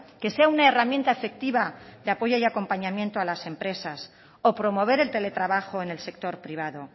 que sea una herramienta efectiva de apoyo y acompañamiento a las empresas o promover el teletrabajo en el sector privado